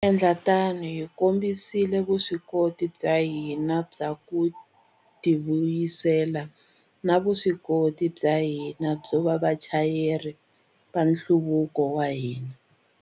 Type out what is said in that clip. Endla tano, hi kombisile vuswikoti bya hina bya ku tivuyisela na vuswikoti bya hina byo va vachayeri va nhluvuko wa hina.